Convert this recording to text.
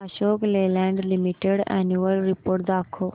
Ashok Leyland limited annual report दाखव